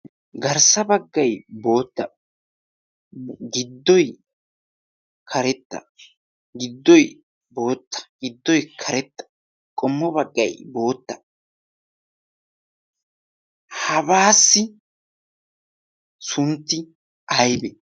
garssa baggay bootta giddoy karetta giddoy bootta giddoy karetta qommo baggay bootta hagaassi sunttay aybbe?